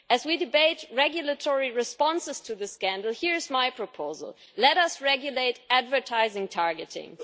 As we debate regulatory responses to the scandal, here is my proposal let us regulate advertising targeting.